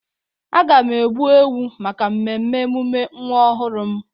Aga m egbu ewu maka mmemme emume nwa ọhụrụ m.